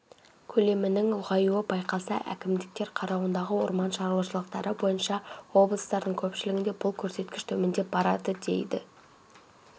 көлемінің ұлғаюы байқалса әкімдіктер қарауындағы орман шаруашылықтары бойынша облыстардың көпшілігінде бұл көрсеткіш төмендеп барады деді